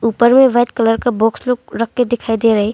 ऊपर में white colour का बॉक्स लोक रखके दिखाई दे रहा है।